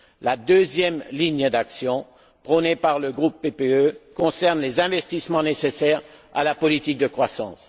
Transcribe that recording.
La deuxième ligne d'action prônée par le groupe PPE concerne les investissements nécessaires à la politique de croissance.